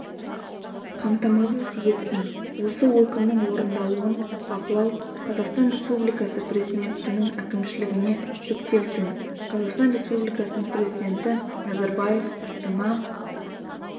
қамтамасыз етсін осы өкімнің орындалуын бақылау қазақстан республикасы президентінің әкімшілігіне жүктелсін қазақстан республикасының президентіназарбаев астана